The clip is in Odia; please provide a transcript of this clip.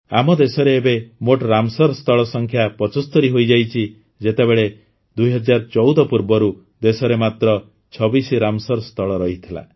ଆମ ଦେଶରେ ଏବେ ମୋଟ ରାମସର ସ୍ଥଳ ସଂଖ୍ୟା ୭୫ ହୋଇଯାଇଛି ଯେତେବେଳେ ୨୦୧୪ ପୂର୍ବରୁ ଦେଶରେ ମାତ୍ର ୨୬ ରାମସର ସ୍ଥଳ ରହିଥିଲା